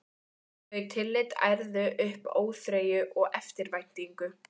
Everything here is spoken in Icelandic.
Þau tillit ærðu upp óþreyju og eftirvæntingu.